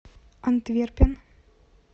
антверпен